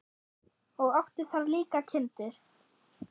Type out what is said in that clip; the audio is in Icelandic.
Og átti þar líka kindur.